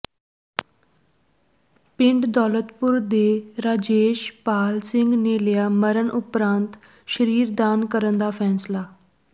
ਪਿੰਡ ਦੌਲਤਪੁਰ ਦੇ ਰਾਜੇਸ਼ ਪਾਲ ਸਿੰਘ ਨੇ ਲਿਆ ਮਰਨ ਉਪਰੰਤ ਸਰੀਰ ਦਾਨ ਕਰਨ ਦਾ ਫ਼ੈਸਲਾ